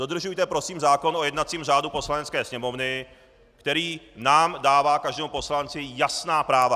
Dodržujte prosím zákon o jednacím řádu Poslanecké sněmovny, který nám dává, každému poslanci, jasná práva.